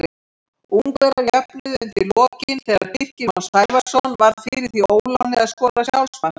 Ungverjar jöfnuðu undir lokin þegar Birkir Már Sævarsson varð fyrir því óláni að skora sjálfsmark.